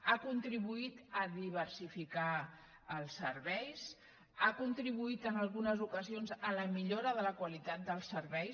han contribuït a diversificar els serveis han contribuït en algunes ocasions a la millora de la qualitat dels serveis